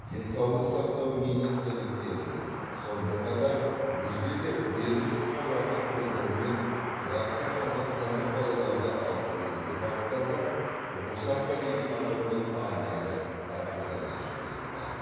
денсаулық сақтау министрліктерінің сонымен қатар өзге де ведомстволардың қолдауымен ирактан қазақстандық балаларды алып келуге бағытталған русафа деген атаумен арнайы операция жүргізілді